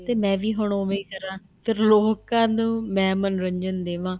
ਤੇ ਮੈਂ ਵੀ ਹੁਣ ਉਵੇ ਹੀ ਕਰਾ ਫ਼ੇਰ ਲੋਕਾਂ ਨੂੰ ਮੈਂ ਮੰਨੋਰੰਜਨ ਦੇਵਾ